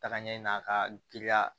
Taga ɲɛ na ka giriya